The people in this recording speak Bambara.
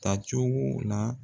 Tacogo la.